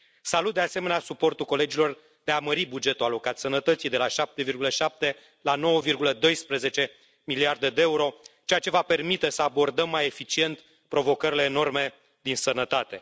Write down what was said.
Salut, de asemenea, suportul colegilor de a mări bugetul alocat sănătății, de la 7,7 la 9,12 miliarde de euro, ceea ce va permite să abordăm mai eficient provocările enorme din sănătate.